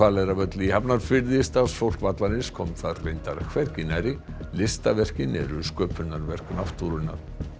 Hvaleyrarvöll í Hafnarfirði starfsfólk vallarins kom þar reyndar hvergi nærri listaverkin eru sköpunarverk náttúrunnar